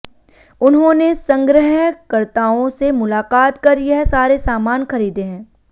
उन्होंने संग्रहकर्ताओं से मुलाकात कर यह सारे सामान खरीदे हैं